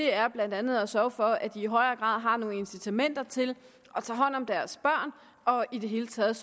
er blandt andet at sørge for at de i højere grad har nogle incitamenter til at tage hånd om deres børn og i det hele taget